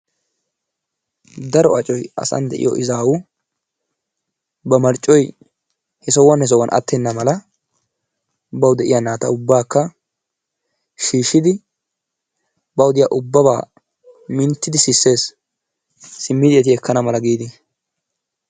Daro accoy asaan de'iyoo izaawu ba marccoy he sohuwa he sohuwaan aattenna mala bawu de'iyaa naata ubbakka shiishshidi bawu diya ubaba minttidi sisees simmidi eti ekana mala giidi.